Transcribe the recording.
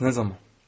Bəs nə zaman?